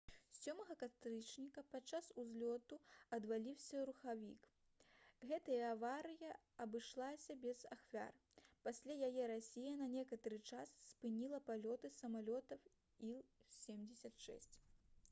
7 кастрычніка падчас узлёту адваліўся рухавік гэтая аварыя абышлася без ахвяр пасля яе расія на некаторы час спыніла палёты самалётаў іл-76